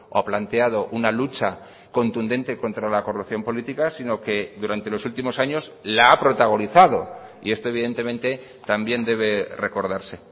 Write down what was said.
ha planteado una lucha contundente contra la corrupción política sino que durante los últimos años la ha protagonizado y esto evidentemente también debe recordarse